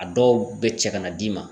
A dɔw be cɛ kana d'i ma